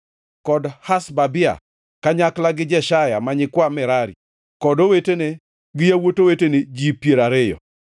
kod Hashabia, kanyakla gi Jeshaya ma nyikwa Merari, kod owetene gi yawuot owetene, ji piero ariyo.